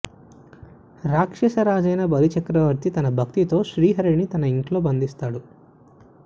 రాక్షస రాజయిన బలిచక్రవర్తి తన భక్తితో శ్రీహరిని తన ఇంట్లో బంధిస్తాడు